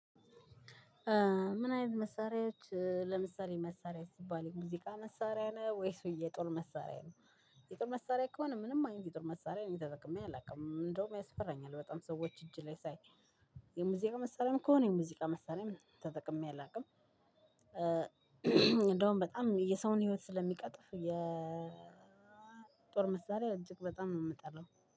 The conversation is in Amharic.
ምን አይነት መሳሪያዎ። ለምሳሌ መሳሪያ ስባል የሙዚቃ መሳሪያ ነው ወይስ የጦር መሳሪያ ነው። የጦር መሳሪያ ከሆነ ምንም አይነት የጦር መሳሪያ እነ ተጠቀመ አላውቅም እንደውም ያስፈራኛል በጣም የሰዎች እጅ ላይ ሳይ። የሙዚቃ መሳሪያም ከሆነ የሙዚቃ መሳሪያም ተጠቅሜ አላውቅ። እንደውም በጣም የሰውን ህይወት ስለምቀጥፍ የጦር መሳሪያ እጅግ በጣም ነው የምጠላው።